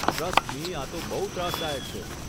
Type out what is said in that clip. Trust me આતો બહુ ત્રાસદાયક છે.